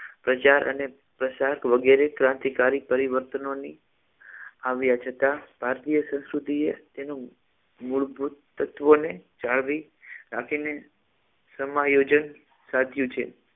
પ્રચાર અને પ્રસાર વગેરે ક્રાંતિકારી પરિવર્તનોની આવ્યા છતાં ભારતીય સંસ્કૃતિએ તેનો મૂળભૂત તત્વોને જાળવી રાખીને સમા યોજન સાધ્યુ છે